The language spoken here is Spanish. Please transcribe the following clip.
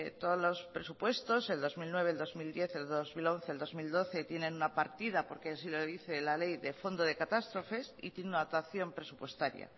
todos los presupuestos el dos mil nueve el dos mil diez el dos mil once dos mil doce tienen una partida porque así lo dice la ley de fondo de catástrofes y tiene una dotación presupuestaria